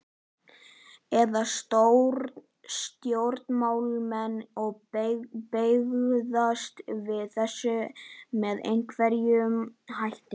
Ætla stjórnmálamenn að bregðast við þessu með einhverjum hætti?